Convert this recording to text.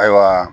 Ayiwa